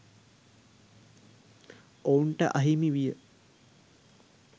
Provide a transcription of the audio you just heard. ඔවුන්ට අහිමි විය.